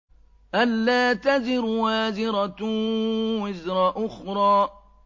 أَلَّا تَزِرُ وَازِرَةٌ وِزْرَ أُخْرَىٰ